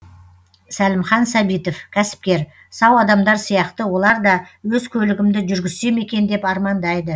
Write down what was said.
сәлімхан сәбитов кәсіпкер сау адамдар сияқты олар да өз көлігімді жүргізсем екен деп армандайды